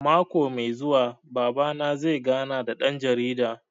Mako mai zuwa Baba na zai gana da ɗan jarida